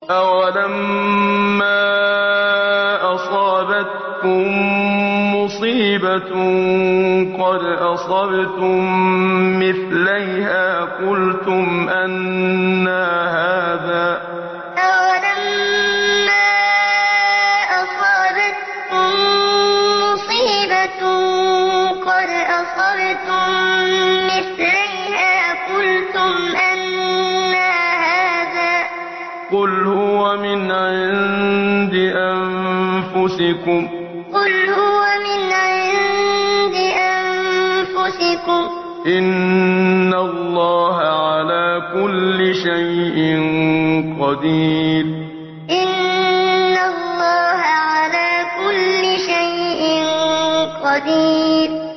أَوَلَمَّا أَصَابَتْكُم مُّصِيبَةٌ قَدْ أَصَبْتُم مِّثْلَيْهَا قُلْتُمْ أَنَّىٰ هَٰذَا ۖ قُلْ هُوَ مِنْ عِندِ أَنفُسِكُمْ ۗ إِنَّ اللَّهَ عَلَىٰ كُلِّ شَيْءٍ قَدِيرٌ أَوَلَمَّا أَصَابَتْكُم مُّصِيبَةٌ قَدْ أَصَبْتُم مِّثْلَيْهَا قُلْتُمْ أَنَّىٰ هَٰذَا ۖ قُلْ هُوَ مِنْ عِندِ أَنفُسِكُمْ ۗ إِنَّ اللَّهَ عَلَىٰ كُلِّ شَيْءٍ قَدِيرٌ